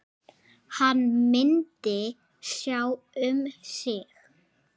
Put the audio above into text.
Hann myndi sjá um sig.